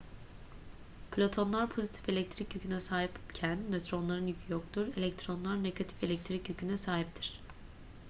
protonlar pozitif elektrik yüküne sahipken nötronların yükü yoktur elektronlar negatif elektrik yüküne sahiptir